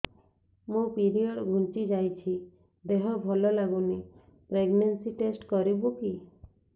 ମୋ ପିରିଅଡ଼ ଘୁଞ୍ଚି ଯାଇଛି ଦେହ ଭଲ ଲାଗୁନି ପ୍ରେଗ୍ନନ୍ସି ଟେଷ୍ଟ କରିବୁ କି